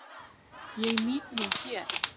Ég nýt mín hér.